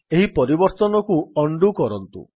ଏହି ପରିବର୍ତ୍ତନକୁ ଉଣ୍ଡୋ କରନ୍ତୁ